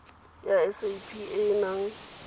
ya sap e e nang